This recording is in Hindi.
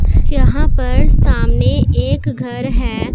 यहां पर सामने एक घर हैं।